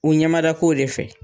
U ɲɛmada ko de fɛ.